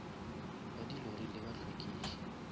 ba di lori le bahlwekiši